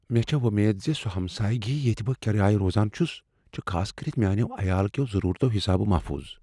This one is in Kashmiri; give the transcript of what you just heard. مےٚ چھےٚ وۄمید ز سو ہمسایگی ییتہِ بہٕ كِرایہ روزان چھٗس چھِ خاصكرِتھ میانیو عیال كیو ضروٗرتو حِسابہ محفوض ۔